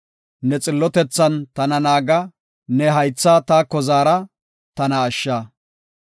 Ne xillotethan tana naaga; ne haytha taako zaara; tana ashsha.